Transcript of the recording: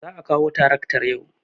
Za a kawo taraktar yau.